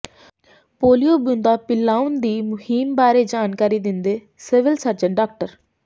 polio ਬੂੰਦਾਂ ਪਿਲਾਉਣ ਦੀ ਮੁਹਿੰਮ ਬਾਰੇ ਜਾਣਕਾਰੀ ਦਿੰਦੇ ਸਿਵਲ ਸਰਜਨ ਡਾ